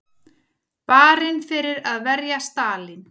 Barinn fyrir að verja Stalín